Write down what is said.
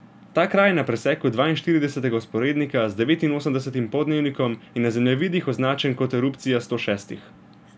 Ta kraj na preseku dvainštiridesetega vzporednika z devetinosemdesetim poldnevnikom je na zemljevidih označen kot Erupcija sto šestih.